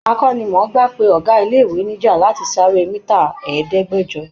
Akọ́nimọ̀ọ́gbá pe ọ̀gá ilé-ìwé níjà láti sáré mítà ẹdẹ̀ẹ́gbẹ̀jọ.